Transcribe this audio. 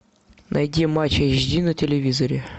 найди матч эйч ди на телевизоре